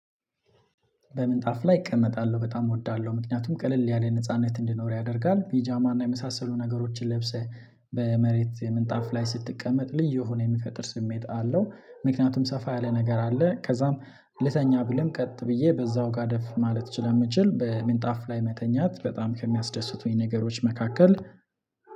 በምንጣፍ ላይ እቀመጣለሁ በጣም እወዳለሁ ምክንያቱም ቀለል ያለ ነጻነት እንዲኖር ያደርጋል ፔጃማ እና የመሳሰሉ ነገሮችን ለብሰህ በመሬት ምንጣፍ ላይ ስትቀመጥ ልዩ የሆነ የሚፈጥር ስሜት አለው። ምክንያቱም ሰፋ ያለ ነገር አለ ከዛም ልተኛ ብልም ቀጥ ብዬ በዛው ጋደፍ ማለት ስለምችል በሚንጣፍ ላይ መተኛት በጣም ከሚያስደስቱኝ ነገሮች መካከል።